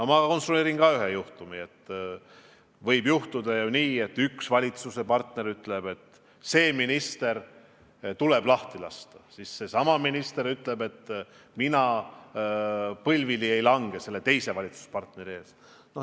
Ma konstrueerin ka ühe juhtumi: võib juhtuda nii, et üks valitsuskoalitsiooni partner ütleb, et see minister tuleb lahti lasta, seesama minister aga ütleb, et tema põlvili selle partneri ees ei lange.